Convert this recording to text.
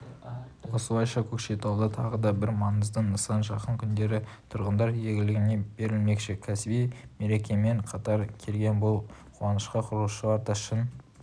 осылайша көкшетауда тағы да бір маңызды нысан жақын күндері тұрғындар игілігіне берілмекші кәсіби мерекемен қатар келген бұл қуанышқа құрылысшылар да шын